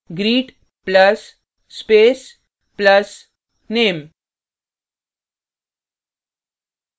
greet plus space plus name